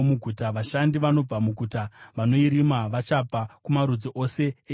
Vashandi vanobva muguta vanoirima vachabva kumarudzi ose eIsraeri.